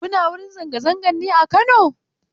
Kuna wurin zanga-zangar ne a Kano?